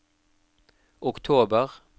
oktober